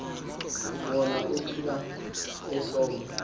wona ubila esoma